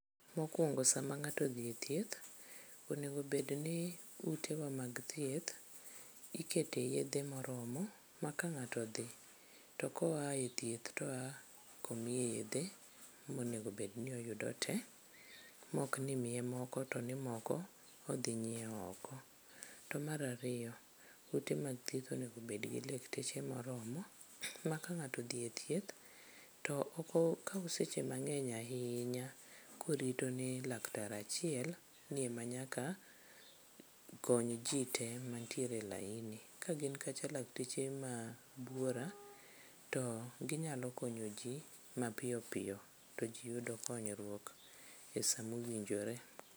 Mokwongo sama ng'ato odhi e thieth, onego bedni utewa mag thieth ikete yedhe moromo ma ka ng'ato odhi to koa e thieth toa komiye yedhe monegobed ni oyudo tee mokni imiye moko to ni moko odhi nyieo oko. To mar ariyo, ute mag thieth onego bedgi lekteche moromo ma ka ng'ato odhi e thieth to ok okaw seche mang'eny ahinya korito ni laktar achiel ni ema nyaka kony ji te mantiere e laini. Kagin kacha lakteche mabuora, to ginyalo konyo ji mapiyoppiyo to ji yudo konyruok e sa mowinjore.